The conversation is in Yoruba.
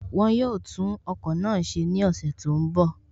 Wọ́n yóò tún ọkọ̀ náà ṣe ní ọ̀sẹ̀ tó ń bọ̀